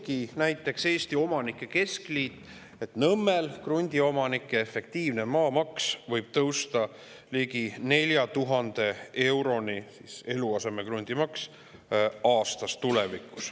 Nii prognoosibki Eesti Omanike Keskliit, et näiteks Nõmmel võib tulevikus krundiomanike efektiivne maamaks ehk eluasemekrundi maamaks tõusta ligi 4000 euroni aastas.